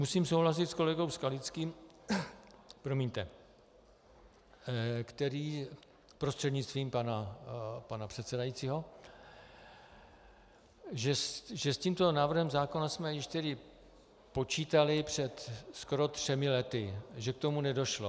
Musím souhlasit s kolegou Skalickým , promiňte, který, prostřednictvím pana předsedajícího, že s tímto návrhem zákona jsme již tedy počítali před skoro třemi lety, že k tomu nedošlo.